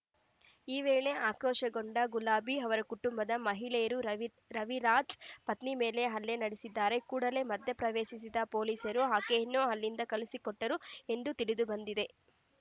ಈ ವೇಳೆ ಆಕ್ರೋಶ ಗೊಂಡ ಗುಲಾಬಿ ಅವರ ಕುಟುಂಬದ ಮಹಿಳೆಯರು ರವಿ ರವಿರಾಜ್ ಪತ್ನಿ ಮೇಲೆ ಹಲ್ಲೆ ನಡೆಸಿದ್ದಾರೆ ಕೂಡಲೇ ಮಧ್ಯಪ್ರವೇಶಿಸಿದ ಪೊಲೀಸರು ಆಕೆಯನ್ನು ಅಲ್ಲಿಂದ ಕಳುಸಿಕೊಟ್ಟರು ಎಂದು ತಿಳಿದುಬಂದಿದೆ